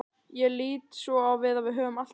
Ég lít svo á að við höfum allt á Íslandi.